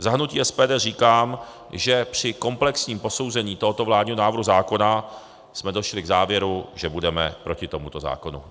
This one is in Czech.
Za hnutí SPD říkám, že při komplexním posouzení tohoto vládního návrhu zákona jsme došli k závěru, že budeme proti tomuto zákonu.